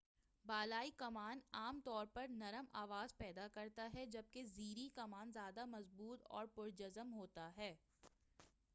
بالائی کمان عام طور پر نرم آواز پیدا کرتا ہے جبکہ زیریں کمان زیادہ مضبوط اور پر جزم ہوتا ہے